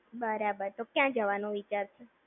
બરાબર, તો ક્યાં જવાનો વિચારે છે?